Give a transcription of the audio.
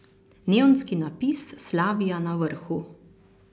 Neonski napis Slavija na vrhu.